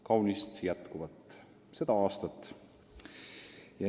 Kaunist jätkuvat seda aastat!